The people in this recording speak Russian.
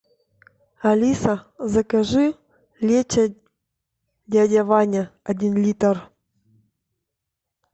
алиса закажи лечо дядя ваня один литр